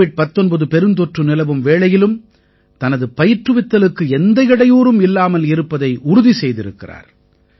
Covid 19 பெருந்தொற்று நிலவும் வேளையிலும் தனது பயிற்றுவித்தலுக்கு எந்த இடையூறும் இல்லாமல் இருப்பதை உறுதி செய்திருக்கிறார்